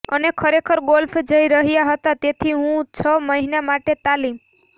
અને ખરેખર ગોલ્ફ જઈ રહ્યા હતા તેથી હું છ મહિના માટે તાલીમ